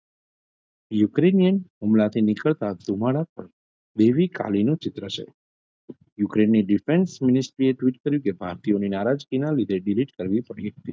Ukrainian હુમલાથી નીકળતા ધુમાડા દેવી કાલીનું ચિત્ર છે યુક્રેનની difference ministry એ twit કર્યું કે ભારતીઓના નારાજગીના લીધે delete કરવી પડી હતી.